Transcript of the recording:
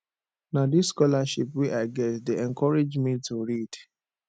na dis scholarship wey i get dey encourage me to read